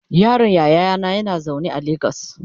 yaron yayana yana zaune a legas